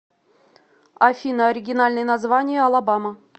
афина оригинальное название алабама